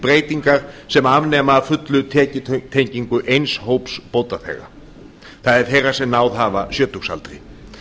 breytingar sem afnema að fullu tekjutengingu eins hóps bótaþega það er þeirra sem náð hafa sjötugsaldri